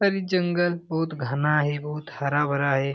और ये जंगल बहुत घना है बहुत हरा-भरा है।